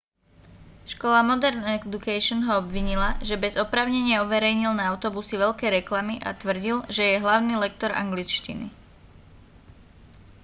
škola modern education ho obvinila že bez oprávnenia uverejnil na autobusy veľké reklamy a tvrdil že je hlavný lektor angličtiny